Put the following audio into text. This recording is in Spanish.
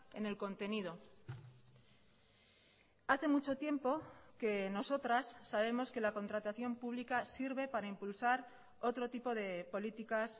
en el contenido hace mucho tiempo que nosotras sabemos que la contratación pública sirve para impulsar otro tipo de políticas